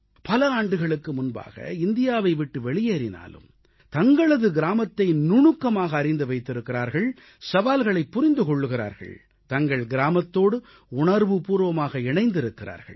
பல ஆண்டுகளுக்கு முன்பாக இந்தியாவை விட்டு வெளியேறினாலும் தங்களது கிராமத்தை நுணுக்கமாக அறிந்து வைத்திருக்கிறார்கள் சவால்களைப் புரிந்து கொள்கிறார்கள் தங்கள் கிராமத்தோடு உணர்வுபூர்வமாக இணைந்திருக்கிறார்கள்